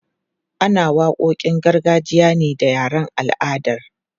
Ana waƙoƙin gargajiya ne da yaren al'adar.